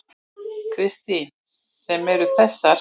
Kristín: Sem eru þessar?